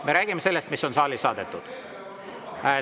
Me räägime sellest, mis on saali saadetud.